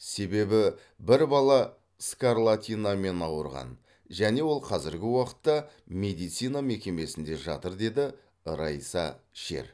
себебі бір бала скарлатинамен ауырған және ол қазіргі уақытта медицина мекемесінде жатыр деді райса шер